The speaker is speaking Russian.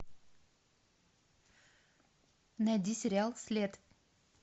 найди сериал след